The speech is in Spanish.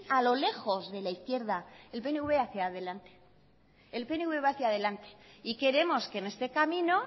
a lo lejos de la izquierda el pnv hacia delante el pnv va hacia delante y queremos que en este camino